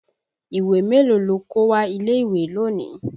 Ìwé mélòó lo kó wá ilé ìwé lónìí?